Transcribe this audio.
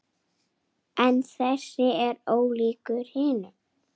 En þessi er ólíkur hinum.